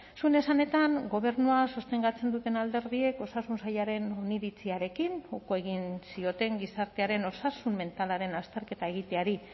zuen esanetan gobernua sostengatzen duten alderdiek osasun sailaren oniritziarekin uko egin zioten gizartearen osasun mentalaren azterketa egiteari